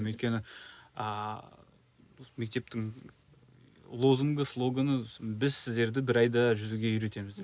өйткені ааа мектептің лозунгы слогоны біз сіздерді бір айда жүзуге үйретеміз деп